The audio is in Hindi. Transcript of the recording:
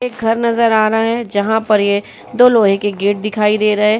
ये घर नजर आ रहा है। जहा पर ये दो लोहे की गेट दिखाई दे रहा है।